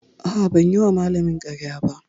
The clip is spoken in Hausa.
A'a, ban yi wa malamina ƙarya ba.